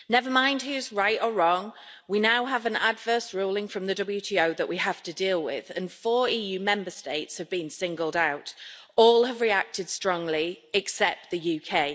Never mind who's right or wrong, we now have an adverse ruling from the WTO that we have to deal with, and four EU Member States have been singled out. All have reacted strongly, except the UK.